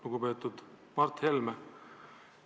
Lugupeetud Mart Helme!